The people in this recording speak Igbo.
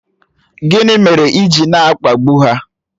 Gịnị mere ị ji na-akpagbu ha?